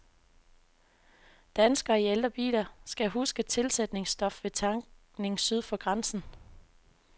Danskere i ældre biler skal huske tilsætningsstof ved tankning syd for grænsen.